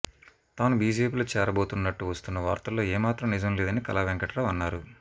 తాను బీజేపీలో చేరబోతున్నట్టు వస్తున్న వార్తల్లో ఏమాత్రం నిజం లేదని కళా వెంకట్రావు అన్నారు